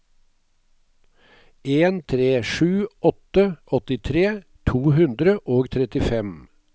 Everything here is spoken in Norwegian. en tre sju åtte åttitre to hundre og trettifem